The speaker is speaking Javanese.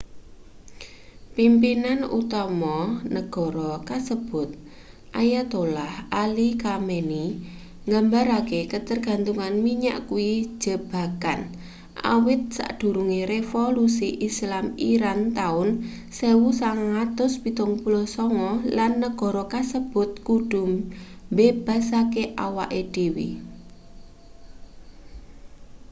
pimpinan utama negara kasebut ayatollah ali khamenei nggambarake katergantungan minyak kuwi jebakan awit sadurunge revolusi islam iran taun 1979 lan negara kasebut kudu mbebaske awake dhewe